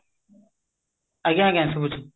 ଆଜ୍ଞା ଆଜ୍ଞା ଶୁବୁଛି